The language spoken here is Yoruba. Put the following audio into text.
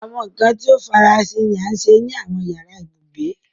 Awọn nkan ti o farasin ni a ṣe ni awọn yara ibugbe